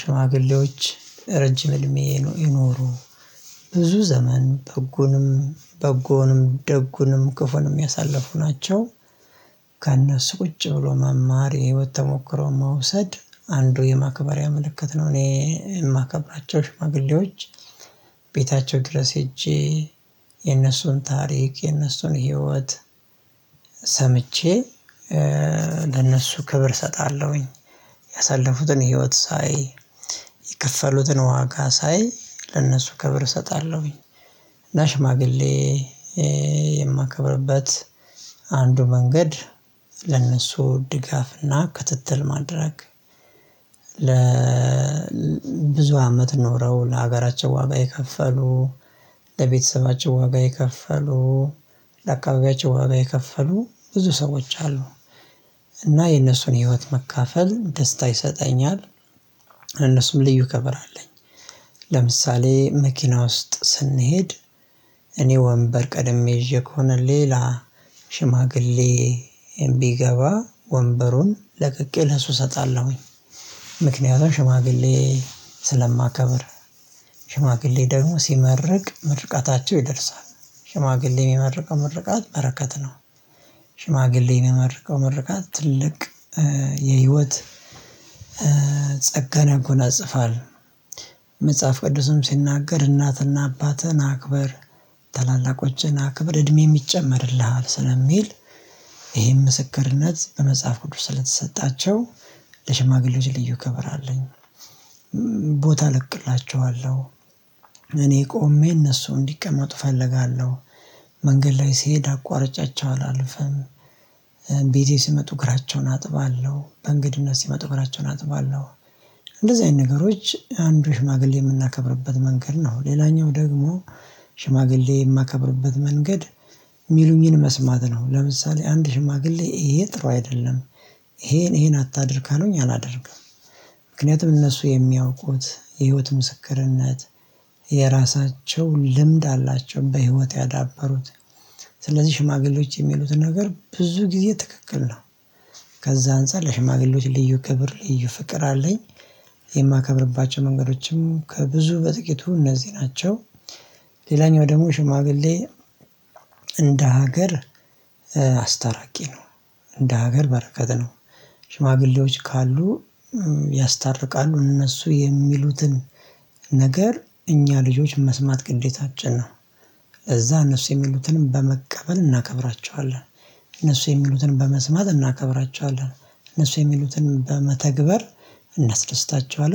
ሽማግሌዎች ረጅም እድሜ ይኖሩ ብዙ ዘመን በጎንም በጎንም ደጉንም ክፉንም ያሳለፉ ናቸው። ከእነሱ ቁጭ ብሎ መማር የህይወት ተሞክሮ መውሰድ አንዱ የማክበርያ ምልክትነው። እኔ የማከብራቸው ሽማግሌዎች። ቤታቸው ድረስ ሄጄ የነሱን ታሪክ የነሱን ህይወት ሰምቼ ለነሱ ክብር እሰጣለሁኝ። ያሳለፉትን ህይወት ሳይ የከፈሉትን ዋጋ ሳይ ለእነሱ ክብር እሰጣለሁኝ። እና ሽማግሌ የማከብርበት አንዱ መንገድ ለነሱ ድጋፍና ክትትል ማድረግ። ለብዙ አመት ኖረው ለሀገራቸው ዋጋ የከፈሉ ለቤተሰባቸው ዋጋ የከፈሉ ለአካባቢያቸው ዋጋ የከፈሉ ብዙ ሰዎች አሉ። እና የነሱን ህይወት መካፈል ደስታ ይሰጠኛል። ለነሱም ልዩ ከበር አለኝ። ለምሳሌ መኪና ውስጥ ስንሄድ እኔ ወንበር ቀደም ይዤ ከሆነ ሌላ ሽማግሌ ቢገባ ወንበሩን ለቅቄ ለሱ እሰጣለሁኝ። ምክንያቱም ሽማግሌ ስለማከብር ሽማግሌ ደግሞ ሲመርቅ ምርቃታቸው ይደርሳል። ሽማግሌ የሚመርቀው ምርቃት በረከት ነው። ሽማግሌ እመርቀው መርቀት ትልቅ የህይወት ጸጋን ያጎናጽፋል። መጽሐፍ ቅዱስም ሲናገር እናትና አባትህን አክበር ታላላቆችህን አክብር እድሜም ይሚጨመርልሃል ስለሚል። ይሄም ምስክርነት በመጽሐፍ ቅዱስ ስለተሰጣቸው ለሽማግሌዎች ልዩ ከበር አለኝ። ቦታ ለቅላቸዋለሁ እኔ ቆሜ እነሱ እንዲቀመጡ እፈልጋለሁ። መንገድ ላይ ስሄድ አቋርጫቸው አላልፍም። ሲመጡ እግራቸውን አጥባለሁ በእንግድነት ሲመጡ እግራቸውን አጥባለሁ። እንደዚህ አይነት ነገሮች አንዱ ሽማግሌ የምናከብርበት መንገድ ነው። ሌላኛው ደግሞ ሽማግሌ የማከብርበት መንገድ የሚሉኝን መስማት ነው። ለምሳሌ አንድ ሽማግሌ ይሄ ጥሩ አይደለም። ይሄን ይሄን አታድርግ ካሉኝ አላደርግም። ምክንያቱም እነሱ የሚያውቁት የህይወት ምስክርነት የራሳቸው ልምድ አላቸው በህይወት ያዳበሩት ስለዚህ ሽማግሌዎች የሚሉትን ነገር ብዙ ጊዜ ትክክል ነው። ከዛ አንፃር ለሽማግሌዎች ልዩ ክብር ልዩ ፍቅር አለኝ። የማከብርባቸው መንገዶችም ከብዙ በጥቂቱ እነዚህ ናቸው። ሌላኛው ደግሞ ሽማግሌ እንደ ሀገር አስታራቂ ነው። እንደ ሀገር በረከት ነው። ሽማግሌዎች ካሉ ያስታርቃሉ እነሱ የሚሉትን ነገር እኛ ልጆች መስማት ግዴታችን ነው። እዛ እነሱ የሚሉትንም በመቀበል እናከብራቸዋለን። እነሱ የሚሉትንም በመስማት እናከብራቸዋለን። እነሱ የሚሉትን በመተግበር እናስደስታቸዋለን